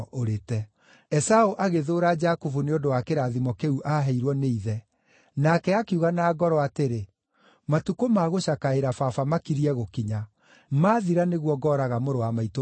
Esaũ agĩthũũra Jakubu nĩ ũndũ wa kĩrathimo kĩu aaheirwo nĩ ithe. Nake akiuga na ngoro atĩrĩ, “Matukũ ma gũcakaĩra baba makiriĩ gũkinya; maathira nĩguo ngooraga mũrũ wa maitũ Jakubu.”